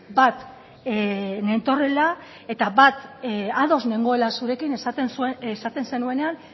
bat nentorrela eta bat ados nengoela zurekin esaten zenuenean